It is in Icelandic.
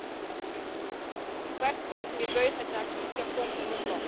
Í hvert sinn sem ég bauð henni að kíkja kom hún með blóm.